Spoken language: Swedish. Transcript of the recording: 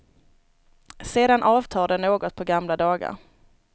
Sedan avtar den något på gamla dagar.